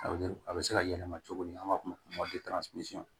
A bɛ a bɛ se ka yɛlɛma cogo min n'an b'a f'o ma